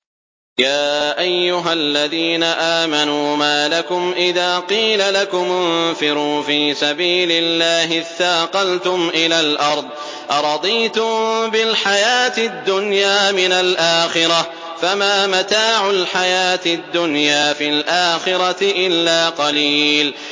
يَا أَيُّهَا الَّذِينَ آمَنُوا مَا لَكُمْ إِذَا قِيلَ لَكُمُ انفِرُوا فِي سَبِيلِ اللَّهِ اثَّاقَلْتُمْ إِلَى الْأَرْضِ ۚ أَرَضِيتُم بِالْحَيَاةِ الدُّنْيَا مِنَ الْآخِرَةِ ۚ فَمَا مَتَاعُ الْحَيَاةِ الدُّنْيَا فِي الْآخِرَةِ إِلَّا قَلِيلٌ